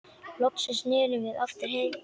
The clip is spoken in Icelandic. Loksins snerum við aftur heim.